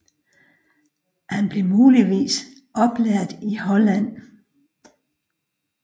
Han blev muligvis oplært i Holland